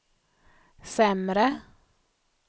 sämre